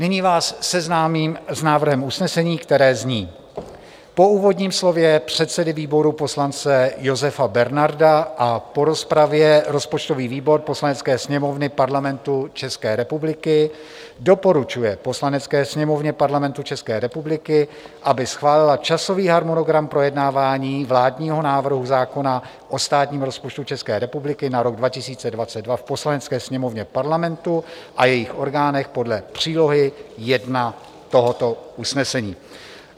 Nyní vás seznámím s návrhem usnesení, které zní: Po úvodním slově předsedy výboru poslance Josefa Bernarda a po rozpravě rozpočtový výbor Poslanecké sněmovny Parlamentu České republiky doporučuje Poslanecké sněmovně Parlamentu České republiky, aby schválila časový harmonogram projednávání vládního návrhu zákona o státním rozpočtu České republiky na rok 2022 v Poslanecké sněmovně Parlamentu a jejích orgánech podle přílohy 1 tohoto usnesení.